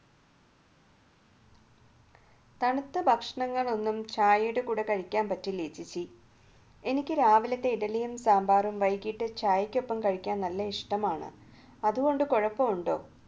തണുത്ത ഭക്ഷണങ്ങൾ ഒന്നും ചായയുടെ കൂടെ കഴിക്കാൻ പറ്റില്ല ചേച്ചി എനിക്ക് രാവിലത്തെ ഇഡലിയും സാമ്പാറും വൈകിട്ട് ചായക്കൊപ്പം കഴിക്കാൻ നല്ല ഇഷ്ടമാണ് അതുകൊണ്ട് കുഴപ്പമുണ്ടോ